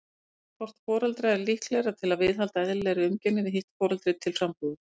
Hvort foreldra er líklegra til að viðhalda eðlilegri umgengni við hitt foreldri til frambúðar?